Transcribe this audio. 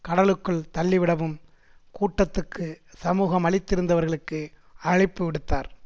கடலுக்குள் தள்ளிவிடவும் கூட்டத்துக்கு சமூகமளித்திருந்தவர்களுக்கு அழைப்பு விடுத்தார்